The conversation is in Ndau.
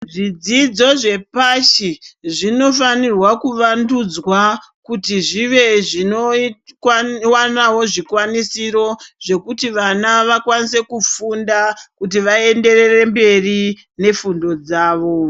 Zvidzidzo zvepashi zvinofanirwa kuvandudzwa kuti zvive zvinoitwa nawo zvikwanisiro zvekuti vana vakwanise kufunda kutivenderere mberi nefundo dzavo